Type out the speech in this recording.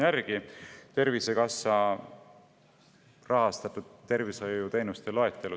Ma vaatasin selle maksumuse Tervisekassa rahastatud tervishoiuteenuste loetelust järele.